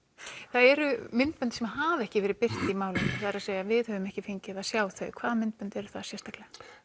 það eru myndbönd sem hafa ekki verið birt í málinu það er að segja við höfum ekki fengið að sjá þau hvaða myndbönd eru það sérstaklega